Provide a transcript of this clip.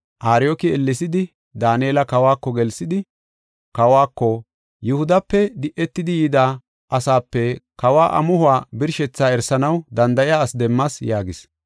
Ariyooki ellesidi Daanela kawako gelsidi, kawako, “Yihudape di7etidi yida asaape kawa amuhuwa birshethaa erisanaw danda7iya ase demmas” yaagis.